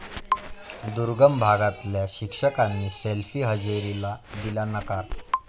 दुर्गम भागातल्या शिक्षकांनी सेल्फी हजेरीला दिला नकार